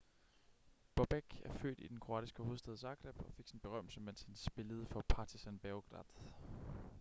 bobek er født i den kroatiske hovedstad zagreb og fik sin berømmelse mens han spillede for partizan beograd